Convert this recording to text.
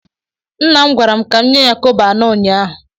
Nna m gwara m ka m nye ya kobo anọ ụnyaahụ.